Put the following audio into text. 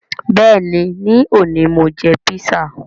Bẹẹni, ni òní Mo jẹ písà